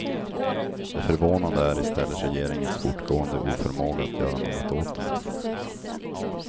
Det förvånande är i stället regeringens fortgående oförmåga att göra något åt dem.